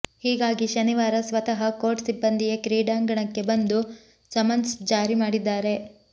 ಹೀಗಾಗಿ ಶನಿವಾರ ಸ್ವತಃ ಕೋರ್ಟ್ ಸಿಬ್ಬಂದಿಯೇ ಕ್ರೀಡಾಂಗಣಕ್ಕೆ ಬಂದು ಸಮನ್ಸ್ ಜಾರಿ ಮಾಡಿದ್ದಾರೆ